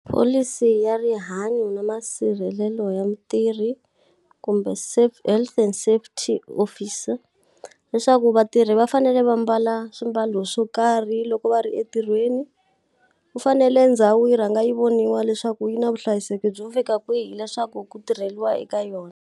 Pholisi ya rihanyo na masirhelelo ya mutirhi, kumbe health and safety officer. Leswaku vatirhi va fanele va mbala swimbalo swo karhi loko va ri entirhweni. Ku fanele ndhawu yi rhanga yi voniwa leswaku yi na vuhlayiseki byo fika kwihi leswaku ku tirheriwa eka yona.